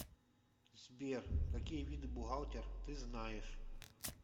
сбер какие виды бухгалтер ты знаешь